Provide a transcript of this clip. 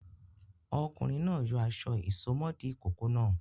Ọkùnrin náà yọ aṣọ ìsomọ́ọ̀dí ìkókó náà.